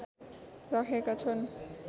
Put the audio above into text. राखेका छन्